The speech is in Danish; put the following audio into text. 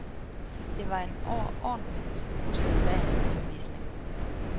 Det var en overordentlig usædvanlig rundvisning.